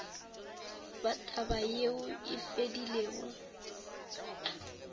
ba taba yeo e fedilego